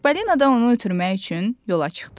Çippolino da onu ötürmək üçün yola çıxdı.